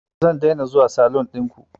Zan daina zuwa salun ɗinku